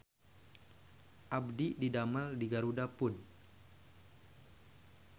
Abdi didamel di GarudaFood